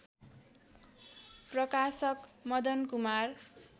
प्रकाशक मदन कुमार